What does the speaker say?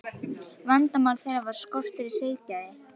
Vandamál þeirra var skortur á siðgæði.